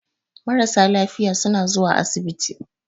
Marasa lafiya suna zuwa asibiti.